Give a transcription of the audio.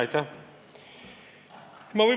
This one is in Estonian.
Aitäh!